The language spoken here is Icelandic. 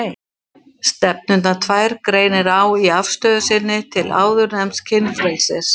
Stefnurnar tvær greinir á í afstöðu sinni til áðurnefnds kynfrelsis.